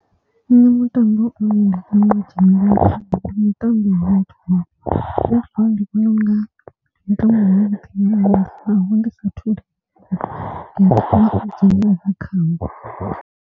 Nṋe mutambo une nda funa u dzhenelela. Ndi mutambo wa netball, netball ndi vhona unga ndi mutambo wavhuḓi nga maanḓa naho ndi saathu a khawo.